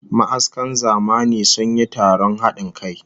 Ma'askan zamani sun yi taron hadin kai